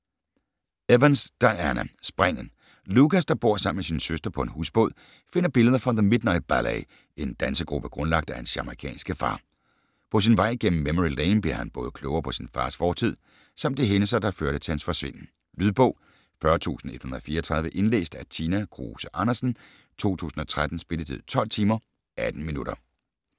Evans, Diana: Springet Lucas, der bor alene med sin søster på en husbåd, finder billeder fra The Midnight Ballet, en dansegruppe grundlagt af hans jamaicanske far. På sin vej gennem memory lane bliver han både klogere på sin fars fortid, samt de hændelser, der førte til hans forsvinden. Lydbog 40134 Indlæst af Tina Kruse Andersen, 2013. Spilletid: 12 timer, 18 minutter.